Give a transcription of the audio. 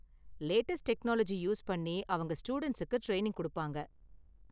Latest technology use பண்ணி அவங்க ஸ்டூடண்ட்ஸுக்கு ட்ரைனிங் கொடுப்பாங்க.